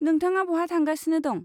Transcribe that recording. नोंथाङा बहा थांगासिनो दं?